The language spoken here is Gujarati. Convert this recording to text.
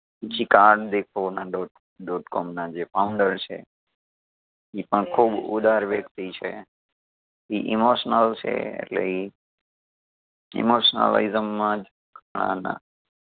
ડોટ ડોટ કોમ ના જે founder છે ઈ પણ ખૂબ ઉદાર વ્યક્તિ છે ઈ emotional છે એટલે ઈ emotionalism માજ ઘણાના